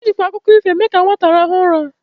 Ejikwa akụkọ ifo eme ka nwata rahụọ ụra.